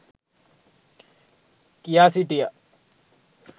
කියා සිටිය